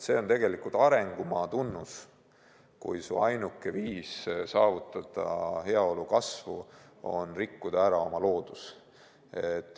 See on tegelikult arengumaa tunnus, kui su ainuke viis saavutada heaolu kasv on rikkuda ära oma loodus.